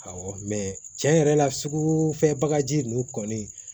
Awɔ mɛ cɛn yɛrɛ la sugufɛ bagaji ninnu kɔni